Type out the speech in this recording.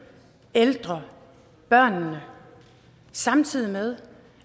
ældre børnene samtidig med